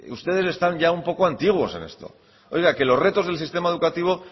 ustedes están ya un poco antiguos en esto oiga que los retos del sistema educativo